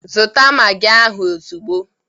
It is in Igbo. Zụta magi ahụ ozugbo!